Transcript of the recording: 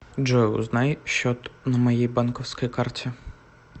джой узнай счет на моей банковской карте